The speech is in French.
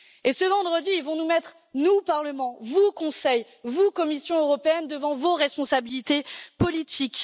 Enfin, ce vendredi, ils vont nous mettre, nous Parlement, vous Conseil, vous Commission européenne, devant vos responsabilités politiques.